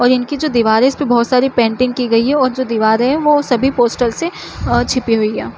और इनकी जो दिवार है इसपे बहोत सारी पेंटिंग की गई है और जो दिवारे है वो सभी पोस्टर्स से अ छिपी हुई है।